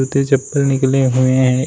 जूते-चप्पल निकले हुए हैं एक --